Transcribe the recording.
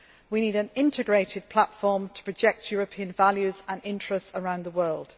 We need an integrated platform to project European values and interests around the world.